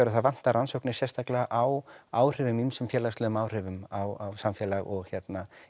að það vantar rannsóknir sérstaklega á áhrifum ýmsum félagslegum áhrifum á samfélag og hérna